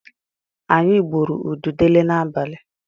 Anyị gbụrụ ududele n'abalị.